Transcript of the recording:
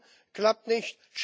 Dublin klappt nicht.